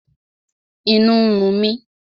Inú ń run mi